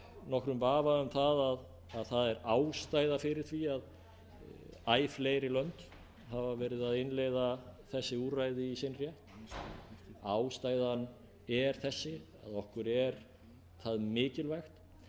nokkrum vafa um að það er ástæða fyrir því að æ fleiri lönd hafa verið að innleiða þessi úrræði í sinn rétt ástæðan er þessi að okkur er það mikilvægt